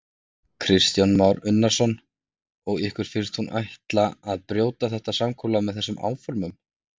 Kristján Már Unnarsson: Og ykkur finnst hún ætla að brjóta þetta samkomulag með þessum áformum?